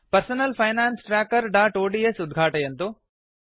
personal finance trackerओड्स् उद्घातयन्तु